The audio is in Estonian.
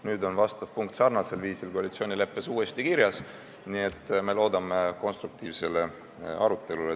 Nüüd on see punkt sarnasel viisil koalitsioonileppes uuesti kirjas, nii et me loodame konstruktiivsele arutelule.